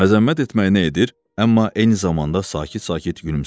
Məzəmmət etməyinə edir, amma eyni zamanda sakit-sakit gülümsəyirdi.